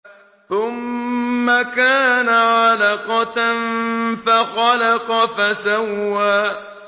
ثُمَّ كَانَ عَلَقَةً فَخَلَقَ فَسَوَّىٰ